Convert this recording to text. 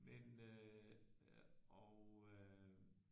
Men øh og øh